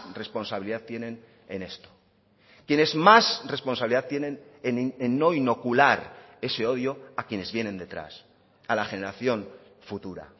responsabilidad tienen en esto quienes más responsabilidad tienen en no inocular ese odio a quienes vienen detrás a la generación futura